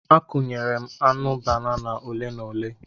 Akụnyere m aṅụ banana ole na ole.